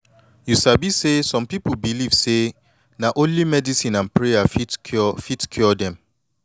you sabi say some pipu believe say na only medicine and prayer fit cure fit cure dem